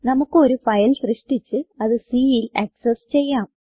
നമുക്ക് ഒരു ഫയൽ സൃഷ്ടിച്ച് അത് Cൽ ആക്സസ് ചെയ്യാം